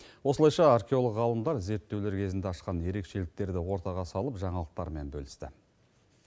осылайша археолог ғалымдар зерттеулер кезінде ашқан ерекшеліктерді ортаға салып жаңалықтармен бөлісті